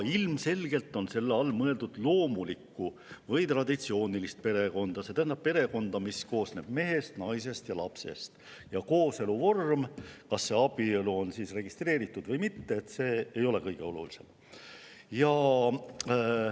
Ilmselgelt on selle all mõeldud loomulikku või traditsioonilist perekonda, see tähendab perekonda, mis koosneb mehest, naisest ja lapsest, seejuures kooselu vorm, kas abielu on registreeritud või mitte, ei ole kõige olulisem.